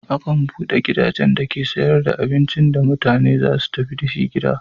Akan buɗe gidajen dake sayar da abincin da mutane za su tafi da shi gida.